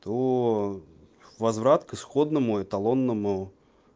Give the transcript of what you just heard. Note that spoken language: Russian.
то возврат к исходному эталонному